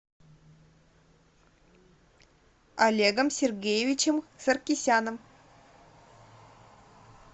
олегом сергеевичем саркисяном